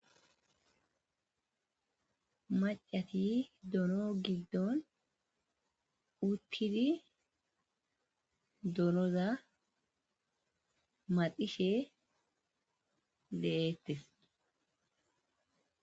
macati dono giddon uttidi donoza madishe deettes